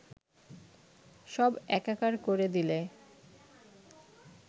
সব একাকার করে দিলে